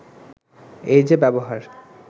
“এই যে ব্যবহার